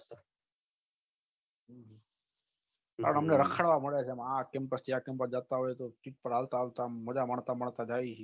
અમને રખડવા મલે છે આ campus થી આ campus માં બઘા માણસો ના મળતા જઈએ